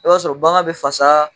E b'a sɔrɔ bagan be fasaa